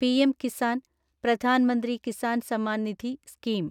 PM Kisan (Pradhan Mantri Kisan Samman Nidhi) scheme